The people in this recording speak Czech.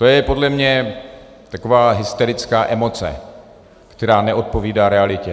To je podle mě taková hysterická emoce, která neodpovídá realitě.